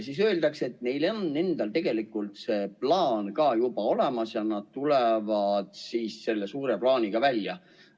Sageli öeldakse, et neil endal tegelikult on see plaan ka juba olemas ja nad tulevad selle suure plaaniga välja.